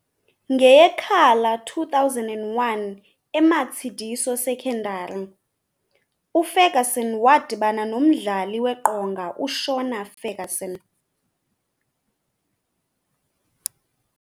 NgeyeKhala 2001 eMatseliso Secondary, uFerguson wadibana nomdlali weqonga uShona Ferguson .